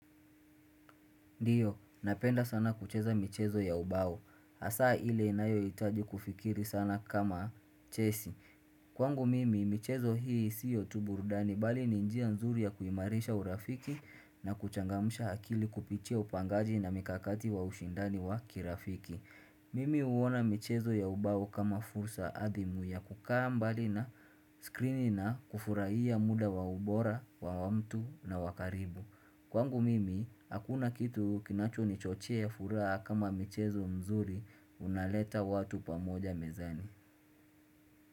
Ndiyo, napenda sana kucheza michezo ya ubao. Hasaa ile inayohitaji kufikiri sana kama chesi. Kwangu mimi, michezo hii siyo tu burudani bali ni njia nzuri ya kuimarisha urafiki na kuchangamsha akili kupitia upangaji na mikakati wa ushindani wa kirafiki. Mimi uona michezo ya ubao kama fursa adhimu ya kukaa mbali na skrini na kufurahia muda wa ubora, wa wa mtu na wakaribu. Kwangu mimi, hakuna kitu kinachonichochea furaha kama michezo mzuri unaleta watu pamoja mezani.